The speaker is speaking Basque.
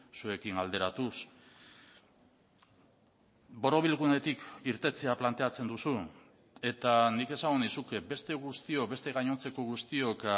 zuekin alderatuz borobilgunetik irtetea planteatzen duzu eta nik esango nizuke beste guztiok beste gainontzeko guztiok